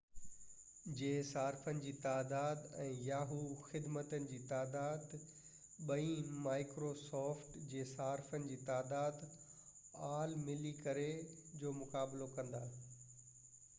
yahoo جي صارفن جي تعداد ۽ microsoft خدمتن جي تعداد ٻئي ملي ڪري aol جي صارفن جي تعداد جو مقابلو ڪندا